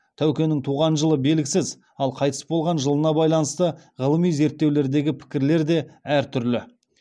тәукенің туған жылы белгісіз ал қайтыс болған жылына байланысты ғылыми зерттеулердегі пікірлер де әр түрлі